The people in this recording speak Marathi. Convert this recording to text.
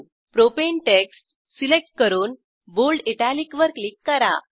प्रोपाने टेक्स्ट सिलेक्ट करून बोल्ड इटालिक वर क्लिक करा